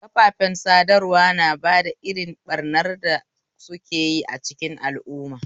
Kafafen sadarwa na da irin ɓarnar da sukeyi a cikin al'umma